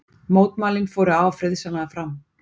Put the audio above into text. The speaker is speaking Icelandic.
Mótmælin fóru afar friðsamlega fram